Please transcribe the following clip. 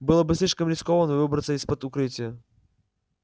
было бы слишком рискованно выбраться из-под укрытия